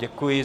Děkuji.